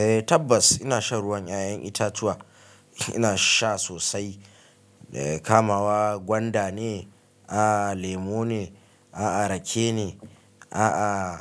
Eh tabbas ina shan ruwan 'ya'yan itatuwa, ina sha sosai. Kamawa gwanda ne? A'h lemu ne? A'a rake ne? A'a